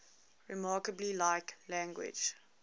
remarkably like language